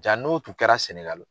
Jaa n'o tun kɛra Sɛnɛgali.